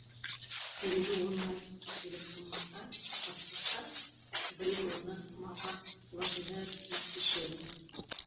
себебі ойын айтқысы келіп тырмыса бастаса біреу оны мазақ қылатындай күй кешеді